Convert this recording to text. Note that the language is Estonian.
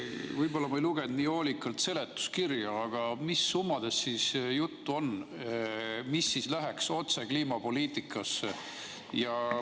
Võib-olla ma ei lugenud nii hoolikalt seletuskirja, aga mis summadest juttu on, mis läheks otse kliimapoliitikasse?